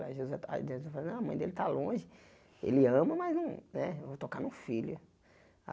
Ah a mãe dele tá longe, ele ama, mas não né eu vou tocar no filho.